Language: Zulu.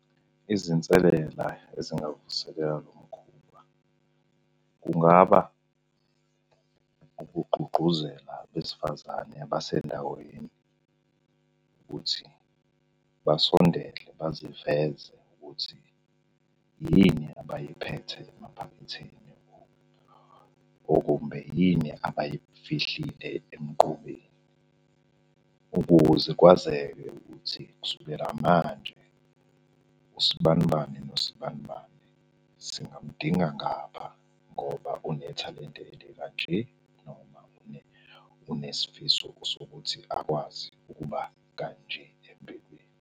Izinselela ezingavuselela lo mkhuba kungaba ukugqugquzela abesifazane abasendaweni ukuthi basondele baziveze ukuthi yini abayiphethe emaphaketheni. Okumbe yini abayifihlile emqubeni, ukuze kwazeke ukuthi kusukela manje usibanibani nosibanibani singamudinga ngapha ngoba unethalente elikanje noma unesifiso sokuthi akwazi ukuba kanje empilweni.